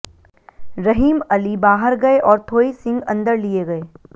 रहीम अली बाहर गए और थोई सिंह अंदर लिए गए